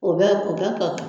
O bɛ k'o kɛ ka